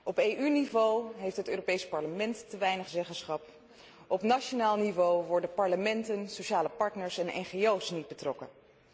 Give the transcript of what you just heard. Op EU niveau heeft het Europees Parlement te weinig zeggenschap, op nationaal niveau worden parlementen, sociale partners en ngo's er niet bij betrokken.